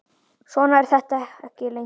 Svona er þetta ekki lengur.